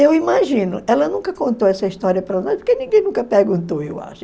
Eu imagino, ela nunca contou essa história para nós, porque ninguém nunca perguntou, eu acho.